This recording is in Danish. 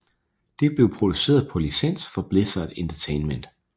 Det blev produceret på licens fra Blizzard Entertainment